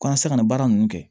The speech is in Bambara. Ko n ka se ka nin baara ninnu kɛ